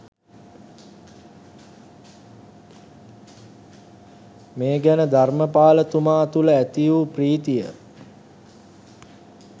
මේ ගැන ධර්‍මපාල තුමා තුළ ඇති වූ ප්‍රීතිය